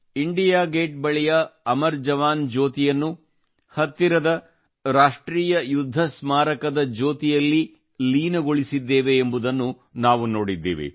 India gate ಬಳಿಯ ಅಮರ ಜವಾನ್ ಜ್ಯೋತಿ ಯನ್ನು ಹತ್ತಿರವೇ ರಾಷ್ಟ್ರೀಯ ಯುದ್ಧ ಸ್ಮಾರಕ ದ ಜ್ಯೋತಿಗಳಲ್ಲಿ ಲೀನಗೊಳಿಸಿದ್ದೇವೆ ಎಂಬುದನ್ನು ನಾವು ನೋಡಿದ್ದೇವೆ